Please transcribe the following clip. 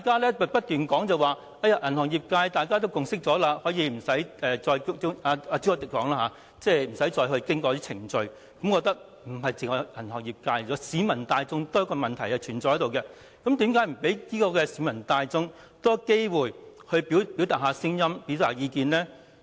朱凱廸議員說銀行業已有共識，故此可以不經過某些程序，但我認為問題不單關乎銀行業界，也與市民大眾有關，那為何不提供多些機會讓市民大眾表達意見呢？